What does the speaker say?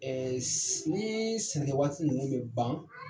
s nii sɛnɛkɛ waati ninnu bɛ ban